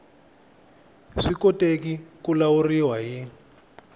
swi koteki ku lawuriwa hi